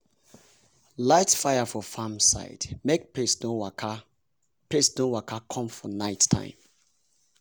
light fire for farm side make pest no waka pest no waka come for night time.